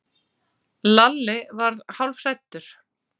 Lalli varð hálfhræddur.